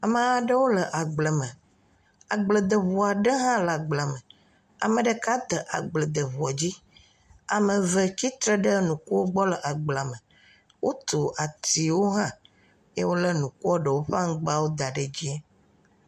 Ame aɖewo le agble me. Agbledeŋu aɖe hã le agblea me. Ame ɖeka de agbledŋua dzi. Ame eve tsitre ɖe nukuwo gbɔ le agblea me. Wotso atsiwo hã eye wole nukua ɖewo ƒe aŋgbawo da ɖe edzi.